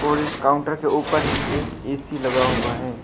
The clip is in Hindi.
और इस काउंटर के ऊपर ही एक ए_सी लगा हुआ है।